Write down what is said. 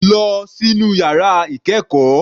Lọ sínú yàrá ìkẹ́ẹ̀kọ́.